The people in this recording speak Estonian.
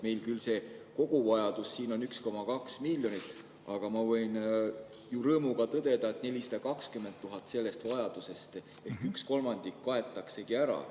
Meil küll see koguvajadus on 1,2 miljonit, aga ma võin rõõmuga tõdeda, et 420 000 sellest vajadusest ehk üks kolmandik kaetaksegi ära.